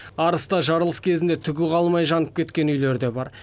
арыста жарылыс кезінде түгі қалмай жанып кеткен үйлер де бар